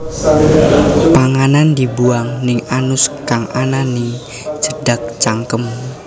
Panganan dibuang ning anus kang ana ning cedhak cangkem